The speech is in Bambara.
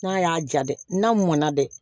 N'a y'a ja dɛ n'a mɔna dɛ